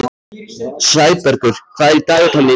Sæbergur, hvað er í dagatalinu í dag?